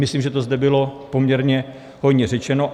Myslím, že to zde bylo poměrně hojně řečeno.